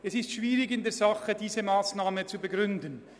In der Sache ist es schwierig, diese Massnahme zu begründen.